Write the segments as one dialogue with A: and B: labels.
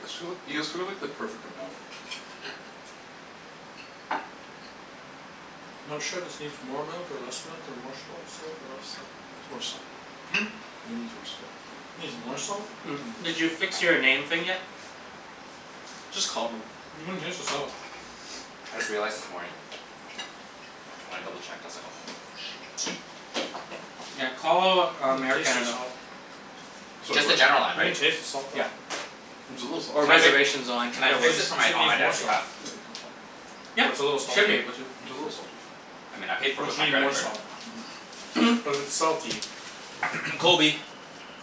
A: You guys too- you guys cooked like the perfect amount.
B: Not sure if this needs more milk or less milk or more salt salt or less salt.
A: More salt.
B: Hmm?
A: It needs more salt.
B: Needs more salt?
C: Did you fix your name thing yet? Just call them.
B: You can taste the salt.
D: I just realized this morning. When I double checked I was like "Oh shoot."
C: Yeah, call um Air
B: taste the
C: Canada.
B: salt.
A: Sorry,
D: Just the
A: what?
D: general line,
B: You can
D: right?
B: taste the salt though.
C: Yep.
A: It's a little salty.
C: Or
D: Can I fi-
C: reservations line,
D: can I
C: either
B: Cuz
D: fix
C: works.
D: this for
B: you said it
D: my, on my
B: needs more
D: dad's
B: salt.
D: behalf?
A: Yeah, it needs more salt.
C: Yeah,
B: What's a little
C: should be
B: salty?
C: able to.
A: It's a little salty.
D: I mean I paid for it
B: But
D: with
B: you
D: my
B: need
D: credit
B: more
D: card.
B: salt.
A: Mhm.
B: But it's salty.
D: Kobe.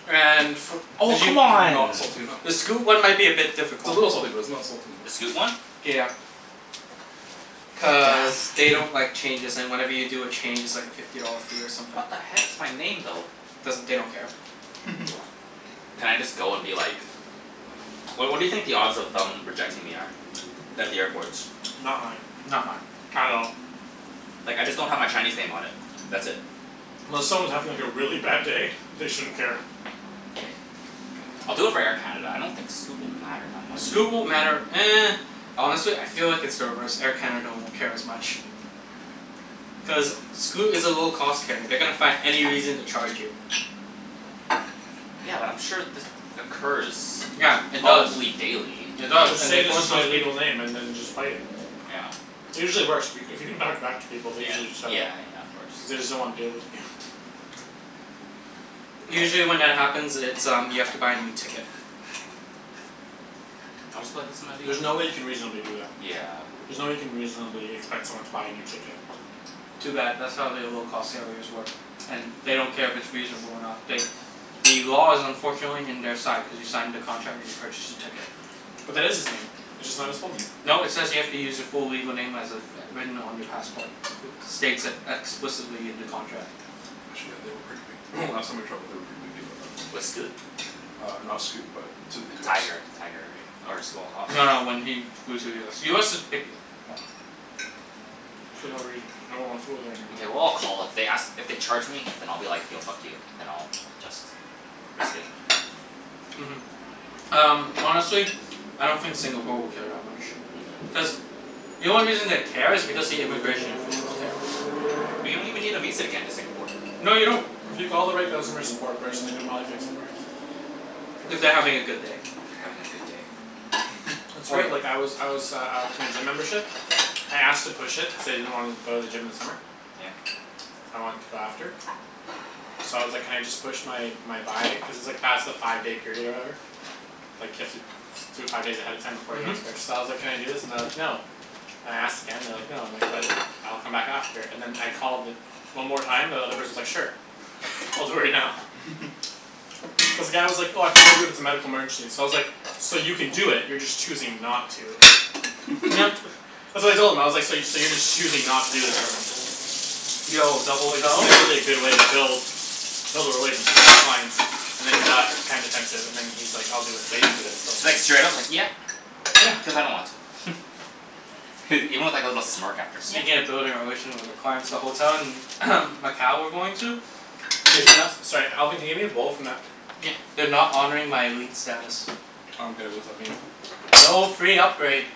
C: And fo-
D: Oh
C: did you,
D: c'mon.
A: Not salty enough.
C: the Scoot one might be a bit
A: It's a
C: difficult.
A: little salty but it's not salty
D: The Scoot
A: enough.
D: one?
C: Yeah. Cuz
D: God damn.
C: they don't like changes and whenever you do a change it's like a fifty dollar fee or something.
D: What the heck, it's my name though.
C: Doesn't, they don't care.
D: Can I just go and be like What what do you think the odds of them rejecting me are? At the airport.
B: Not high.
C: Not high.
B: At all.
D: Like I just don't have my Chinese name on it. That's it.
B: Unless someone's having like a really bad day they shouldn't care.
D: K, I'll do it for Air Canada. I don't think Scoot will matter that much.
C: Scoot won't matter Honestly I feel like it's the reverse, Air Canada won't care as much. Cuz Scoot is a low cost carrier. They're gonna find any reason to charge you.
D: Yeah, but I'm sure this occurs
C: Yeah, it does.
D: probably daily.
C: It does
B: Just
C: and
B: say
C: they
B: this
C: force
B: is my
C: those peop-
B: legal name and then just fight it.
D: Yeah.
B: It usually works. If you c- if you can talk back to people they
D: Yeah.
B: usually set it.
D: Yeah yeah, of course.
B: Cuz they just don't wanna deal with you.
D: Yes.
C: Usually when that happens it's um you have to buy a new ticket.
D: I'll just be like, "This is my legal
B: There's no way you
D: name," yeah.
B: can reasonably do that.
D: Yeah.
B: There's no way you can reasonably expect someone to buy a new ticket.
C: Too bad, that's how they low cost carriers work. And they don't care if it's reasonable or not, they The law is unfortunately in their side cuz you signed the contract when you purchased the ticket.
B: But that is his name. It's just not his full name.
C: No, it says you have to use your full legal name as it's written on your passport. States it explicitly in the contract.
A: Actually yeah, they were pretty pic- last time I traveled they were pretty picky about that
D: With Scoot?
A: Uh not Scoot, but to the US.
D: Tiger. Tiger, right? Or Small Hoss?
C: No, when he flew to US. US is picky.
A: Yeah.
B: For no reason,
D: Hmm.
B: cuz no one wants to go there anymore.
D: Mkay, well I'll call, if they ask, if they charge me then I'll be like, "Yo, fuck you." Then I'll just risk it.
C: Mhm. Um honestly I don't think Singapore will care that much.
D: Mhm.
C: Cuz the only reason they care is because the immigration officials care.
D: But you don't even need a visa to get into Singapore.
C: No you don't.
B: If you call the right customer support person they could probably fix it for you. For
C: If
B: free.
C: they're having a good day.
D: They're having a good day?
B: That's
C: Oh
B: right,
C: yeah.
B: like I was I was uh uh with my gym membership. I asked to push it, cuz I didn't wanna go to the gym this summer.
D: Yeah?
B: I want to go after. So I was like "Can I just push my my buy" cuz it's like past the five day period or whatever. Like you have to do it five days ahead of time before the
C: Mhm.
B: next purchase, so I was like, "Can I do this?" and they're like, "No." And I asked again and they're like "No." And I'm like, "But, I'll come back after." And then I called the one more time and the other person's like "Sure." "I'll do it right now." Cuz the guy was like, "Oh I can only do it if it's a medical emergency." So I was like, "So you can do it, you're just choosing not to." Uh so I told him I was like, "So you so you're just choosing not to do this for me."
C: Yo, the
B: Like this
C: hotel
B: isn't really a good way to build Build a relationship with your clients and then he got kinda defensive and then he's like, "I'll do it." But he didn't do it for like at
D: Like
B: least
D: straight up like "Yeah,
B: Yeah.
D: cuz I don't want to." Even with like a little smirk after. "Yeah."
C: Speaking of building a relation with the clients the hotel in Macau we're going to
B: Can you
C: Is no-
B: Sorry Alvin can you hand me a bowl from that
D: Yeah.
C: They're not honoring my elite status.
A: I don't get it, what's that mean?
C: No free upgrade.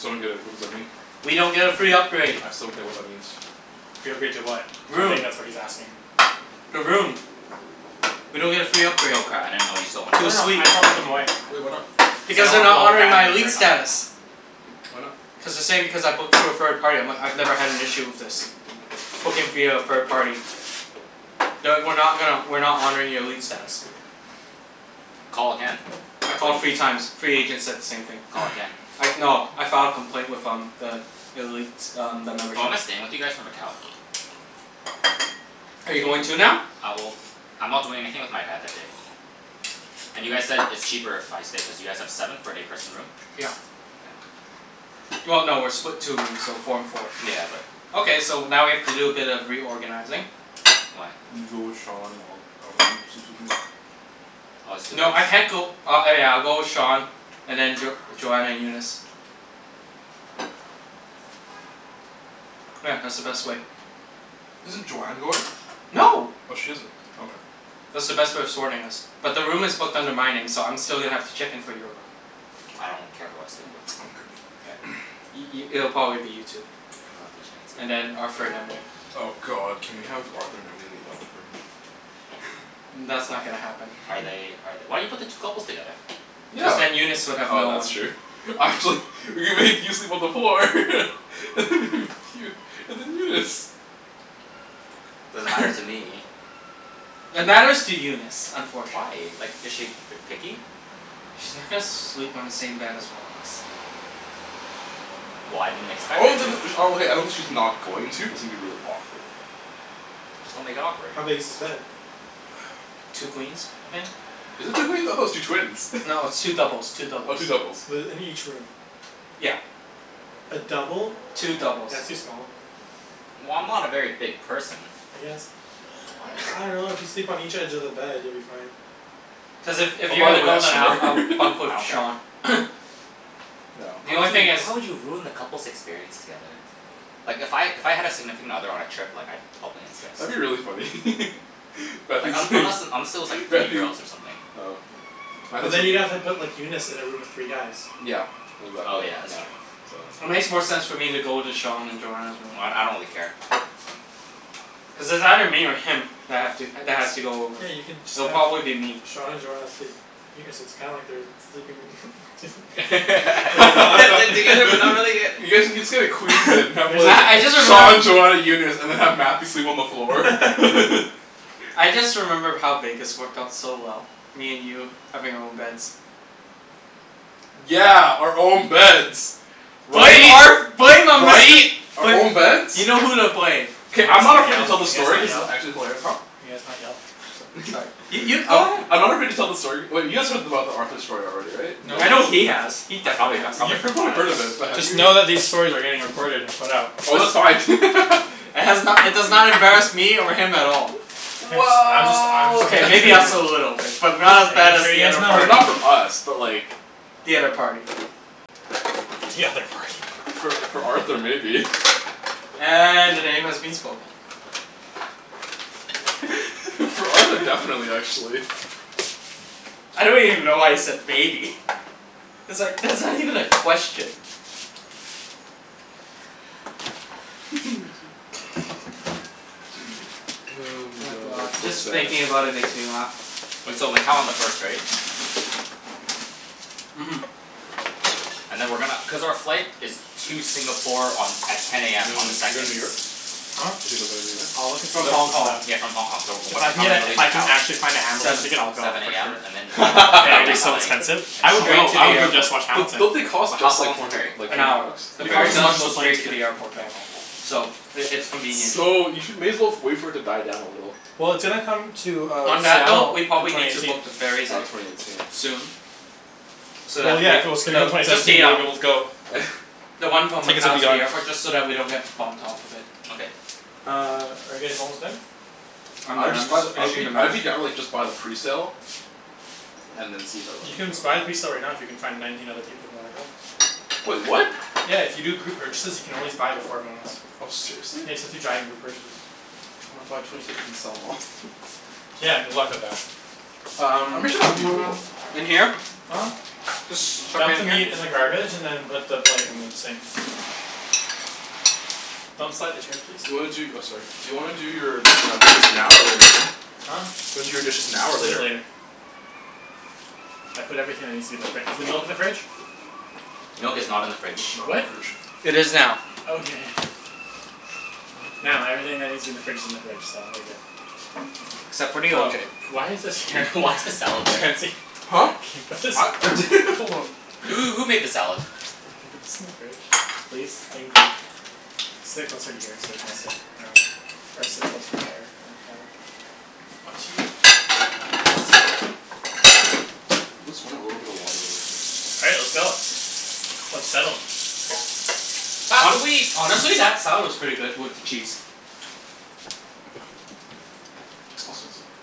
A: So I don't get it, what does that mean?
C: We don't get a free upgrade.
A: I still don't get what that means.
B: Free upgrade to what? I
C: Room.
B: think that's what he's asking.
C: The room. We don't get a free upgrade.
D: Oh cra- I didn't know you still wanted
C: To
B: No
C: a
B: no, I
C: suite.
B: just wanna put them away.
A: Well, why not?
B: Cuz I
C: Because
B: don't
C: they're
B: wanna put a
C: not
B: whole
C: honoring
B: pan
C: my
B: in the
C: elite
D: Okay.
B: fridge.
C: status.
A: Why not?
C: Cuz they're saying because I booked through a third party I'm like, "I've never had an issue with this." Booking via a third party. "No, we're not gonna, we're not honoring your elite status."
D: Call again,
C: I
D: I bet
C: called three
D: you
C: times, three agents said the same thing.
D: Call again.
C: I no I filed a complaint with um the elite um the membership.
D: Oh, am I staying with you guys for Macau?
C: Are you going too now?
D: Uh well, I'm not doing anything with my dad that day. And you guys said it's cheaper if I stay cuz you guys have seven for an eight person room?
C: Yeah. Well no, we're split two rooms, so four and four.
D: Yeah, but
C: Okay, so now we have to do a bit of reorganizing.
D: Why?
A: You go with Sean, I'll I'll go in and sleep with Nate.
D: Oh it's two beds?
C: No I can't go, uh oh yeah I'll go with Sean and then Jo- Joanna and Eunice. Yeah, that's the best way.
A: Isn't Joanne going?
C: No.
A: Oh she isn't. Okay.
C: That's the best way of sorting us. But the room is booked under my name so I'm still gonna have to check in for your room.
D: I don't care who I sleep with.
C: K. I- i- it'll probably be you two.
D: I love you
C: And
D: Chancey.
C: then Arthur and Emily.
A: Oh god, can we have Arthur and Emily in the other room?
C: That's
D: Oh.
C: not gonna happen.
D: Are they are th- why you put the two couples together?
C: Cuz
A: Yeah,
C: then Eunice would have
A: oh
C: no one.
A: that's true We could make you sleep on the floor and then Eunice.
D: Doesn't matter to me.
C: It matters to Eunice,
D: Why?
C: unfortunately.
D: Like is she ver- picky?
C: She's not gonna sleep on the same bed as one of us.
D: Well, I didn't expect her to.
A: Okay, I don't think she's not going to, it's gonna be really awkward.
D: Just don't make it awkward.
B: How big is this bed?
C: Two queens, I think.
A: Is it two queens? I thought it was two twins.
C: No, it's two doubles, two
A: Oh,
C: doubles.
A: two doubles.
B: The in each room.
C: Yeah.
B: A double?
C: Two doubles.
B: That's too small.
D: Well, I'm not a very big person.
B: I guess.
A: I
B: I
A: am.
B: dunno, if you sleep on each edge of the bed you'll be fine.
C: Plus if if
A: Oh
C: you're
A: by the
C: gonna
A: way
C: go
A: I
C: then I'll
A: snore
C: I'll bunk
D: I
C: with
D: don't care.
C: Sean.
A: Yeah.
C: The
D: How
C: only
D: would
C: thing is
D: you, how would you have ruined the couples' experience together? Like if I, if I had a significant other on a trip like I'd probably insist.
A: That'd be really funny
D: Like un- unless and unless it was like three
A: Matthew
D: girls or something.
A: Oh yeah,
B: But
A: Matthew's
B: then you'd have have
A: room.
B: to put Eunice in a room with three guys.
A: Yeah.
D: Oh
A: Exactly,
D: yeah, that's
A: yeah.
D: true.
A: So
C: It makes more sense for me to go into Sean and Joanna's room.
D: Well d- I don't really care.
C: Cuz it's either me or him that have to that has to go over.
B: Yeah, you can just
C: It'll
B: have
C: probably be me.
B: Sean and Joanna sleep. Yeah, so it's kinda like they're sleeping
D: They're
B: but they're not
D: together but not really yet.
A: You guys can just get a queen bed and
B: We
A: have
B: can
A: like
C: I I
B: just
C: just
A: Sean
C: remembered
A: Joanna Eunice, and then have Matthew sleep on the floor.
C: I just remember how Vegas worked out so well. Me and you having our own beds.
A: Yeah, our own beds.
C: Blame
A: Right?
C: Arth- blame um Mister.
A: Right? Our own beds?
C: You know who to blame.
B: Can
A: K,
B: you
A: I'm
B: guys
A: not
B: not
A: afraid
B: yell?
A: to tell
B: Can
A: the
B: you guys
A: story
B: not
A: cuz it's
B: yell?
A: actually hilarious. Huh?
B: Can you guys not yell?
A: I'm sorry
C: Sorry, you you go
A: I'm
C: ahead.
A: I'm not afraid to tell the story, wait you guys heard about the Arthur story already, right?
B: Nope.
A: In
C: I know
A: Vegas?
C: he has. He
D: I
C: definitely
D: probably got
C: has.
D: I
A: You
D: probably forgot.
A: heard of it but have
B: Just
A: you
B: know that these stories are getting recorded and put out.
A: Oh that's
C: It's
A: fine
C: It has no- it does not embarrass me over him at all.
B: Guys I'm just I'm just
A: Well
C: K,
B: making sure
C: maybe
B: you
C: us
B: guys
C: a little bit. But not as bad
B: Making
C: as
B: sure you
C: the
B: guys
C: other
B: know.
A: I mean
C: party.
A: not for us but like
C: The other party.
B: The other party.
A: For for Arthur maybe.
C: And the name has been spoken.
A: For Arthur, definitely actually.
C: I don't even know why you said maybe. It's like, that's not even a question.
A: my
C: Oh
A: god,
C: god,
A: that's
C: just
A: so sad.
C: thinking about it makes me laugh.
D: Wait, so Macau on the first right?
C: Mhm.
D: And then we're gonna, cuz our flight is to Singapore on, at ten
A: You
D: AM on the
A: doin' you're goin'
D: second.
A: to New York?
B: Huh?
A: Talking about going to New York?
B: I'll look at
D: So s-
C: From
B: tickets
C: Hong
B: and
C: Kong.
B: stuff.
D: s- yeah from Hong Kong, so
B: If
D: what
B: I can
D: time are
B: get
D: we
B: a
D: gonna
B: if
D: leave
B: I can
D: Macau?
B: actually find a Hamilton
C: Seven.
B: ticket I'll go
D: Seven
B: for
D: AM,
B: sure.
D: and then like the
B: But it'll
D: ferry
B: be
D: is
B: so
D: like,
B: expensive.
D: an
B: I would
D: hour?
C: Straight
B: go,
C: to
B: I
C: the
B: would go just
C: airport.
B: to watch
A: Don't
B: Hamilton.
A: don't they cost
D: But how
A: just
D: how
A: like
D: long is
A: four
D: the
A: hundred
D: ferry?
A: like
C: An
A: four
C: hour.
A: hundred bucks?
C: The
B: They
C: ferry
B: cost as
C: does
B: much as
C: go
B: a plane
C: straight to
B: ticket.
C: the airport though. So it it's convenient.
A: So you should, may as well wait for it to die down a little.
B: Well, it's gonna come to uh
C: On that note,
B: Seattle
C: we
B: in
C: probably
B: twenty
C: need to
B: eighteen.
C: book the ferries
A: Oh,
C: at,
A: twenty eighteen.
C: soon. So
B: Well
C: that
B: yeah,
C: we,
B: if it was gonna come
C: though,
B: twenty
C: just
B: seventeen
C: the
B: you wouldn't be
C: um
B: able to go.
C: The one from
B: Tickets would
C: Macau
B: be
C: to
B: gone.
C: the airport, just so that we don't get bumped off of it.
D: Okay.
B: Uh, are you guys almost done?
C: I'm
A: I would
C: done, I'm
A: just buy the,
C: just
A: I would
C: finishing
A: be
C: the
A: I would
C: mash.
A: be down to like just buy the presale. And then see if everyone
B: You
A: would
B: can
A: go.
B: just buy the presale right now if you can find nineteen other people who wanna go.
A: Wait, what?
B: Yeah, if you do group purchases you can always buy them for everyone else.
A: Oh, seriously?
B: Yeah, you just have to giant group purchase.
A: I wanna buy twenty tickets and sell 'em off
B: Yeah, good luck with that.
A: I'm
C: Um
A: pretty sure that'd be doable.
C: in here?
B: Huh?
C: Just chuck it
B: Dump the
C: in here?
B: meat in the garbage and then put the plate in the sink. Don't slide the chairs please.
A: Do you wanna do, oh sorry, do you wanna do your uh dishes now or later?
B: Huh?
A: Do you wanna do your dishes now or
B: We'll do it
A: later?
B: later. I put everything that needs to be in the fri- is the milk in the fridge?
D: Milk is not in the
A: Milk
D: fridge.
A: is not in
B: What?
A: the fridge.
C: It is now.
B: Okay. Now everything that needs to be in the fridge is in the fridge, so we're good.
C: Except for the O
B: Oh,
C: J.
B: why is this here
D: Why is the salad there?
B: Chancey.
A: Huh?
B: What's this
A: Hold on.
D: Who who made the salad?
B: Could you put this in the fridge? Please? Thank you. Sit closer to here so we can all sit around or sit closer to there Up to you. Uh is this everything? Okay.
A: Let's run a little bit of water real quick.
B: All right, let's go. Let's settle.
D: Pass the
C: Hon-
D: wheat.
C: honestly, that salad was pretty good with the cheese.
A: I was gonna sit there.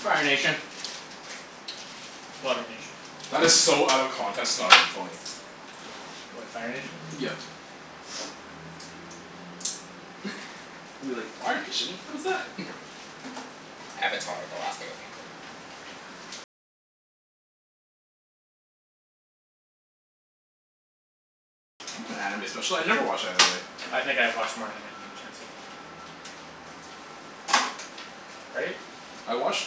C: Fire Nation.
B: Water Nation.
A: That is so out of context it's not even funny.
B: What, Fire Nation?
A: Yeah. You're like "Fire Nation? What is that?"
D: Avatar, the Last Airbender.
A: I'm not an anime special- I never watch anime.
B: I think I've watched more anime than you Chancey. Right?
A: I watched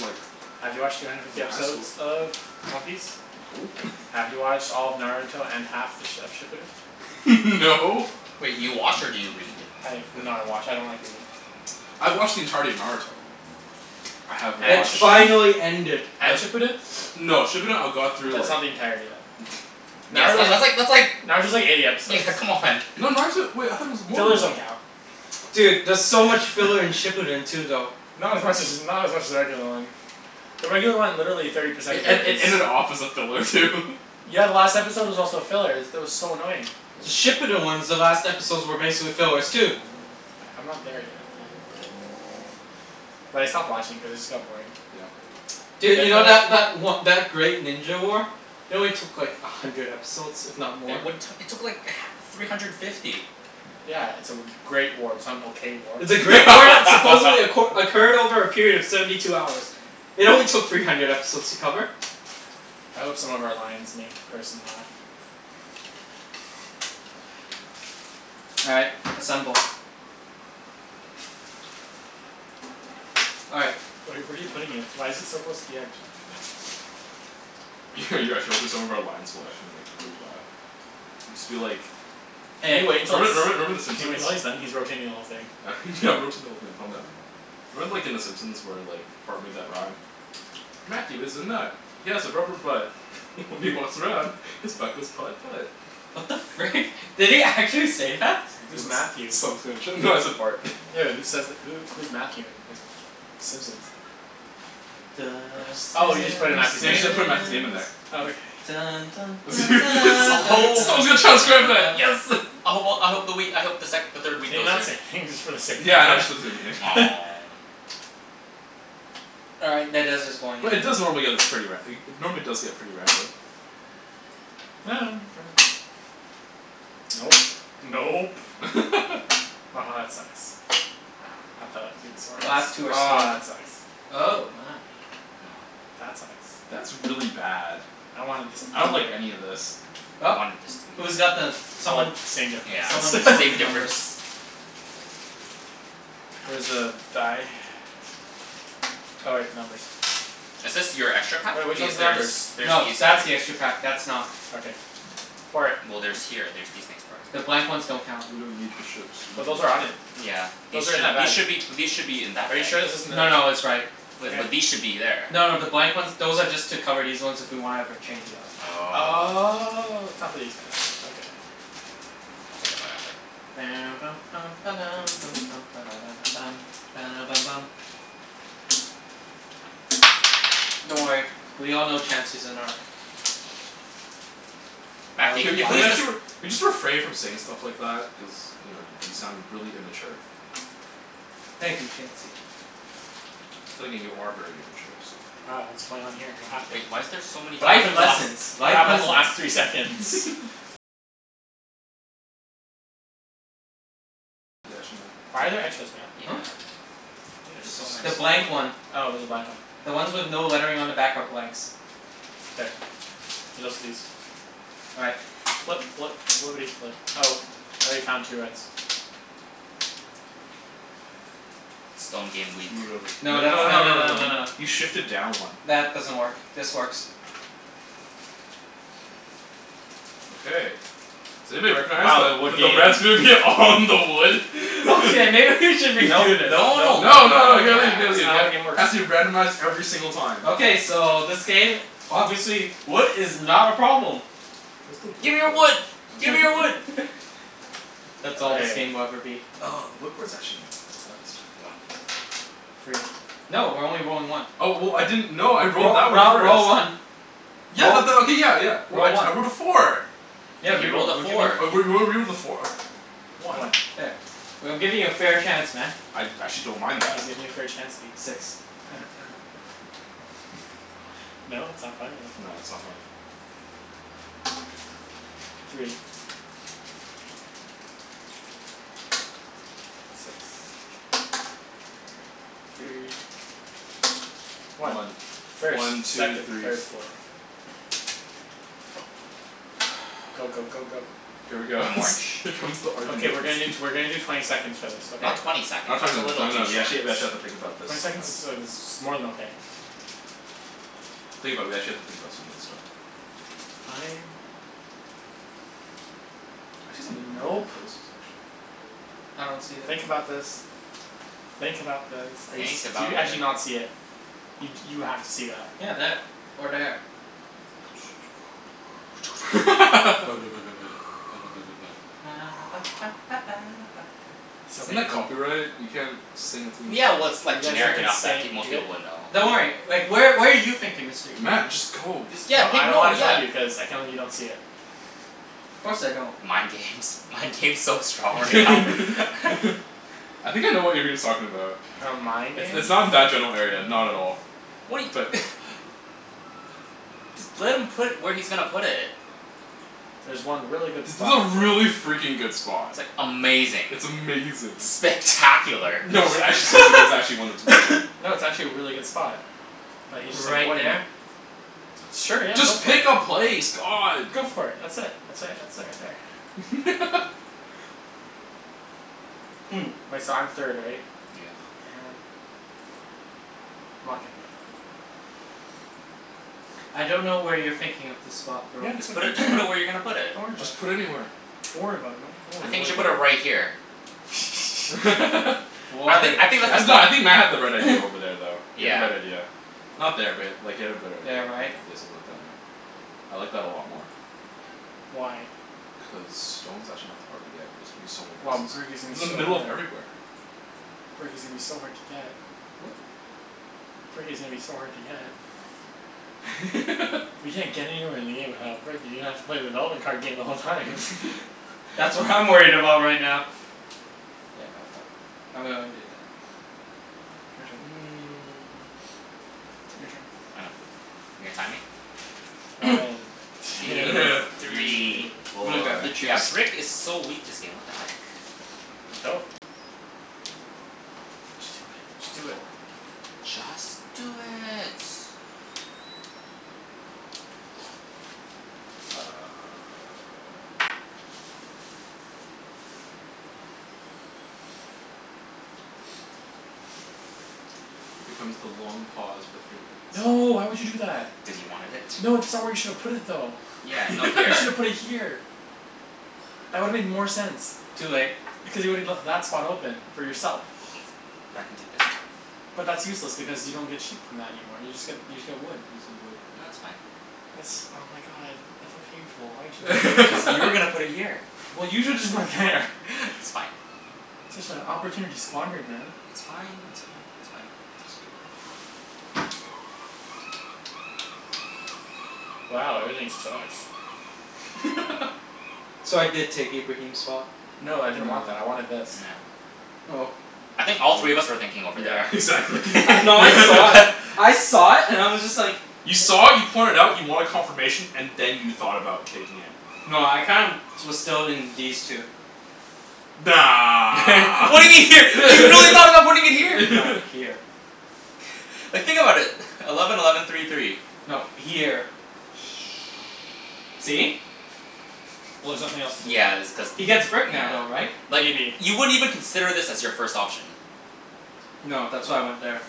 A: like
B: Have you watched three hundred fifty
A: in high
B: episodes
A: school
B: of One Piece?
A: No.
B: Have you watched all of Naruto and half th- of Shippuden?
A: No.
D: Wait, you watch or do you read?
B: I have, no I watch, I don't like reading.
A: I've watched the entirety of Naruto. I have
C: It
B: And
A: watched
B: Shippuden?
C: finally ended.
A: Uh
B: And Shippuden?
A: No, Shippuden I got through
B: That's
A: like
B: not the entirety then.
D: Yeah it's
B: Naruto
D: like
B: was,
D: that's like that's like.
B: Naruto's like eighty episodes.
D: Yeah, come on.
A: No, Naruto, wait I thought it was more than
B: Fillers
A: that.
B: don't count.
C: Dude, there's so much filler in Shippuden too though.
B: Not as much as, not as much as the regular one. The regular one, literally thirty percent
A: It
B: of it
A: ed- it
B: is
A: ended off as a filler too
B: Yeah, the last episode was also a filler. Is, that was so annoying.
C: The
A: Yeah.
C: Shippuden ones, the last episodes were basically fillers too.
B: I'm not there yet um But I stopped watching cuz it just got boring.
A: Yeah.
B: Def
C: Dude, you know
B: wanna
C: that that o- that Great Ninja War? It only took like a hundred episodes, if not more.
D: It what, it took like h- three hundred fifty.
B: Yeah, it's a w- great war. It's not an okay war.
C: It's a great war that supposedly acqu- occurred over a period of seventy two hours. It only took three hundred episodes to cover.
B: I hope some of our lines make the person laugh.
C: All right, assemble. All right.
B: Where are you where are you putting it? Why is it so close to the edge?
A: You're actually hoping some of our lines will actually make everybody laugh. Just be like
B: Can
C: Hey.
B: you wait until it's,
A: Remember remember remember the
B: can you wait
A: Simpsons?
B: until he's done? He's rotating the whole thing.
A: Yeah I'm rotating the whole thing, calm down. Remember like in the Simpsons where like Bart made that rhyme? "Matthew is a nut, he has a rubber butt." "When he walks around, his butt goes putt putt."
C: What the frick? Did he actually say that?
A: Someone's
B: Who's
A: gonna
B: Matthew?
A: s- someone's gonna tr- no I said Bart.
B: Yo who says th- who who's Matthew in in Simpsons?
C: The
A: Bunch of
B: Oh you just put in
A: Simpsons.
B: Matthew's
A: Yeah, you
B: name?
A: just gotta put Matthew's name in there.
B: Oh okay.
C: Simpsons.
A: Someone's gonna transcribe that. Yes!
D: I hope well I hope the wheat, I hope the sec- the third wheat
B: Can you
D: goes
B: not say
D: here.
B: anything just for the sake of
A: Yeah, I know,
B: that?
A: just
C: All right, that dice is going in
A: But it
C: like
A: does normally
C: that.
A: get this pretty ra- normally does get pretty random.
B: Nope. Nope. Aha that sucks. I thought it was gonna be
C: Last two
B: smartest.
C: are
B: Aw
C: stone,
B: that sucks.
C: oh my.
B: That sucks.
A: That's really bad.
B: I wanted this to be
A: I don't like any
B: here.
A: of this.
C: Well.
D: I wanted this to be
C: Who's got
D: uh
C: the,
B: Well,
C: someone
B: same
D: Yeah,
B: difference.
C: someone
D: it's
C: sort the
D: same
C: numbers.
D: difference.
B: Where's the die? Oh wait, numbers.
D: Is this your extra pack?
B: Wait, which
D: These,
B: one's the
D: there is,
B: numbers?
D: there's
C: No,
D: these here.
C: that's the extra pack. That's not.
B: Okay. Pour it.
D: Well there's here, there's these things part of
C: The
D: it.
C: blank ones don't count.
A: We don't need the ships, we're
B: But
A: not
B: those
A: going
B: are
A: to
B: on
A: play
B: it.
A: with them.
D: Yeah. These
B: Those are in
D: should,
B: our
D: these
B: bags.
D: should be, these should be in that
B: Are you
D: bag.
B: sure this isn't the
C: No no, it's right.
B: Wait
D: Wait, but
B: but
D: these should be there.
C: No no, the blank ones, those are just to cover these ones if we wanna ever change it up.
D: Oh.
B: Oh, it's not for these guys, okay.
D: We'll take them out after.
C: Don't worry, we all know Chancey's a narc.
B: Oh
D: Matthew,
A: Can
D: can you
A: you can you
D: please
B: why
D: just
A: actually r- can you just refrain from saying stuff like that? Cuz you know y- you sound really immature.
C: Thank you Chancey.
A: But then again, you are very immature, so
B: Uh what's going on here? What happened?
D: Wait, why is there so many
B: What
C: Life
B: happened the last
C: lessons,
B: what
C: life
B: happened
C: lessons.
B: the last three seconds? Why are there extras, Matt?
D: Yeah,
C: Huh?
A: I think
D: there's
A: this
D: so
C: The
D: many.
C: blank
A: is one.
C: one.
B: Oh there's a blank one.
C: The ones with no lettering on the back are blanks.
B: K, there's also these.
C: All right.
B: Flip flip flippity flip. Oh, I already found two reds.
D: Stone game weak.
A: Move it over.
C: No
A: No no
C: that's,
A: no
C: tha- no
A: no
C: no
A: no
C: no no
A: no,
C: no.
A: you shifted down one.
C: That doesn't work, this works.
A: Okay, does anybody recognize
B: Wow, the wood
A: that the
B: games.
A: red's gonna be all on the wood?
C: Okay, maybe we should
B: Nope
C: redo this.
B: nope
D: No no, no
B: nope nope
A: No no no
B: nope.
A: you gotta leave it
D: yeah.
A: you gotta
B: It's
A: leave it
B: not how the
A: got
B: game works.
A: Has to be randomized every single time
C: Okay, so this game, obviously wood is not a problem.
A: Where's the wood
D: Gimme your
A: port?
D: wood!
A: Oh it's
D: Gimme your
A: right
D: wood!
A: there.
C: That's all this
B: Okay.
C: game will ever be.
A: Oh the wood port's actually not that bad this
D: One.
A: time.
C: Three. No, we're only rolling one.
A: Oh w- w- I didn't, no I rolled
C: Roll,
A: that one
C: roll,
A: first.
C: roll one.
A: Yeah
C: Roll,
A: but that, okay, yeah yeah,
C: roll one.
A: I rolled a four.
C: Yeah,
D: Yeah, he rolled
C: re-roll.
D: a
C: We're giving
D: four.
A: a four. Whatever, one.
B: One.
C: There. We- I'm giving you a fair chance, man.
A: I I actually don't mind
B: He's
A: that.
B: giving you a fair Chancey.
C: Six.
B: No? it's not funny? Okay.
A: No, it's not funny.
B: Three. Six.
C: Three.
B: Three. One.
A: One.
B: First,
A: One, two,
B: second,
A: three,
B: third,
A: four.
B: fourth. Go go go go.
A: Here we go
D: I'm orange.
A: Here comes the argument
B: Okay we're gonna do t- we're gonna do twenty seconds for this, okay?
D: Not twenty seconds.
A: Not twenty
D: That's a
A: seconds,
D: little
A: no
D: too
A: no, we
D: short.
A: actually we actually have to think about this
B: Twenty seconds
A: sometimes.
B: is uh is more than okay.
A: Think about it, we actually have to think about some of this stuff.
B: Fine.
A: I see some
B: N-
A: really good
B: nope.
A: places actually.
C: I don't see that.
B: Think about this. Think about this. Are you s-
D: Think
B: do you
D: about
B: actually
D: thi-
B: not see it? You d- you have to see that.
C: Yeah, there, or there.
B: So
A: Isn't that
B: painful.
A: copyright? You can't sing a theme
D: Yeah well,
A: song.
D: it's like
B: You guys have
D: generic
B: been
D: enough that
B: say-
D: pe- most
B: you guy-
D: people would know.
C: Don't worry, like where where are you thinking Mr. Ibrahim?
A: Matt, just go.
D: You s- yeah
B: No
D: pick,
B: I don't
D: no
B: wanna tell
D: yeah
B: you, cuz I can't believe you don't see it.
C: Of course I don't.
D: Mind games, mind games so strong right now.
A: I think I know what Ibrahim's talking about.
B: Mind
A: It's
B: games?
A: it's not in that general area, not at all,
D: What he
A: but
D: Just let him put where he's gonna put it.
B: There's one really good
A: It's
B: spot to
A: a
B: play.
A: really freakin' good spot.
D: Amazing.
A: It's amazing.
D: Spectacular.
A: No we're actually serious, there's actually one that's really good.
B: No, it's actually a really good spot. But he's just
C: Right
B: avoiding it.
C: there?
B: Sure, yeah, go
A: Just
B: for it.
A: pick a place, god.
B: Go for it. That's it, that's it, that's it right there.
C: Hmm.
B: Wait, so I'm third right?
D: Yeah.
B: Oh man. I'm not gonna get it.
C: I don't know where you're thinking of the spot bro.
B: Yeah, it's
D: Just
B: right
D: put it, just put it where you're gonna put
B: there.
D: it.
B: Don't worry about
A: Just
B: it.
A: put anywhere.
B: Don't worry about it man, don't
D: I
B: worry
A: Don't
B: about
D: think you
A: worry
D: should
B: it.
D: put
A: about
D: it
A: it.
D: right here. I
C: What a
D: think I think that's the
C: jerk.
A: No, I
D: spot.
A: think Matt had the right idea over there though. He had the
D: Yeah.
A: right idea. Not there but like he had a better idea,
C: There,
A: yeah
C: right?
A: you got something like that, yeah. I like that a lot more.
B: Why?
A: Cuz stone's actually not that hard to get. It's gonna be so many
B: Well,
A: places.
B: brick is
A: It's
B: gonna
A: in the
B: be so
A: middle of
B: hard.
A: everywhere.
B: Brick is gonna be so hard to get. Brick is gonna be so hard to get. You can't get anywhere in the game without brick, you're gonna have to play the development card game the whole time.
C: That's what I'm worried about right now. Yeah no fuck, I'm gonna undo that.
B: Your turn. Your turn.
D: I know. You're gonna time me?
B: One, two,
A: Three,
B: three.
C: I'm gonna
A: four
C: grab the
D: Yeah,
C: juice.
D: brick is so weak this game, what the heck.
B: Go. Just do it, just do it.
D: Just do it.
A: Here comes the long pause for three minutes.
B: No, why would you do that?
D: Cuz you wanted it.
B: No, that's not where you shoulda put it though.
D: Yeah, no,
B: You
D: here.
B: shoulda put it here. That would've made more sense,
C: Too late.
B: because you woulda left that spot open for yourself.
D: But I can take this back.
B: But that's useless because you don't get sheep from that anymore, you just get, you just get wood.
A: He needs to get
D: No,
A: wood.
D: it's fine.
B: That's, oh my god, that's so painful, why would you do that?
D: Cuz you were gonna put it here.
B: Well you shoulda just put it there
D: It's fine.
B: Such a opportunity squandered man.
D: It's fine, that's fine, it's fine. Just go.
A: Oops, go.
B: Wow, everything sucks.
C: So I did take Ibrahim's spot.
B: No, I didn't
A: No.
B: want that, I wanted this.
D: No.
C: Oh.
D: I think all
A: I
D: three of
A: would've,
D: us were thinking over
A: yeah
D: there.
A: exactly
C: No, I saw it. I saw it and I was just like
A: You saw it, you point it out, you wanted confirmation, and then you thought about taking it.
C: No, I kinda was still in these two.
A: Nah.
D: What do you mean here? You really thought about putting it here?
C: No, here.
D: Like think about it. Eleven eleven three three.
C: No, here.
D: Oh.
B: Shh,
C: See?
B: well there's nothing else to do.
D: Yeah that's cuz,
C: He gets brick now though, right?
D: nah Like
B: Maybe.
D: you wouldn't even consider this as your first option.
C: No, that's why I went there.